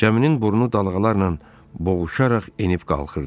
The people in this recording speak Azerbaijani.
Kəminin burnu dalğalarla boğuşaraq enib qalxırdı.